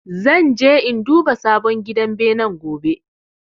Zan je in duba sabon gidan benen gobe